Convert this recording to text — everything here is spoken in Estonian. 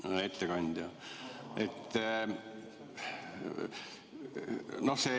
Hea ettekandja!